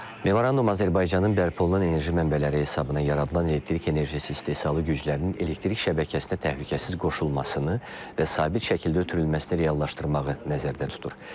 Memorandum Azərbaycanın bərpa olunan enerji mənbələri hesabına yaradılan elektrik enerjisi istehsalı güclərinin elektrik şəbəkəsinə təhlükəsiz qoşulmasını və sabit şəkildə ötürülməsini reallaşdırmağı nəzərdə tutur.